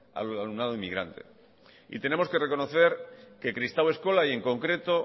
al alumnado inmigrante tenemos que reconocer que kristau eskola y en concreto